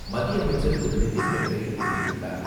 மத்திய அமைச்சர் திரு.நிதின்கட்கரி தெரிவித்துள்ளார்.